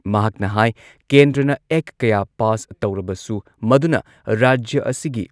ꯃꯍꯥꯛꯅ ꯍꯥꯏ ꯀꯦꯟꯗ꯭ꯔꯅ ꯑꯦꯛ ꯀꯌꯥ ꯄꯥꯁ ꯇꯧꯔꯕꯁꯨ ꯃꯗꯨꯅ ꯔꯥꯖ꯭ꯌ ꯑꯁꯤꯒꯤ